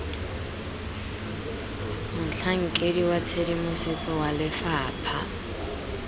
motlhankedi wa tshedimosetso wa lefapha